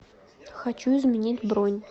хочу изменить бронь